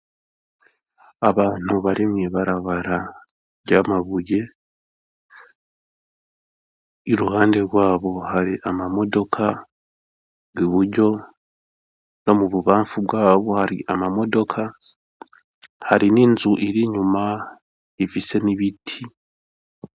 Abantu bari mw'ibarabara ry'amabuye, iruhande rwabo hari ama modoka, iburyo no mububafu bwabo hari ama modoka hari n'inzu ir'inyuma ifise n'ibiti.